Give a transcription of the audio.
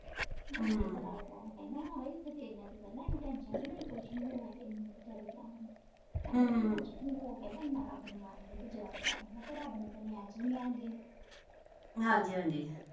ਕਹਿੰਦਾ ਹਏ ਤੇਰੀਆਂ ਤੇ ਕਹਿੰਦਾ ਨੀ ਐਵੇ tension ਨਾ ਲਵੀ ਕੁਛ ਨੀ ਹੋਇਆ ਤੈਨੂੰ ਵਿਚਾਰੀ ਕੌਣ ਨੂੰ ਕੁਛ ਨਹੀਂ ਹੋਇਆ ਕਹਿੰਦਾ ਇੰਨਾ ਰਬ ਨੂੰ ਮੰਨਦੀ ਯਾਦ ਕਰਦੀ ਰਬ ਨੇ ਤੈਨੂੰ aish ਵੀ ਨੀ ਆਉਣ ਦੇਣੀ